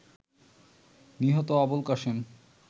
নিহত আবুলকাশেম